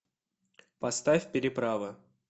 поставь переправа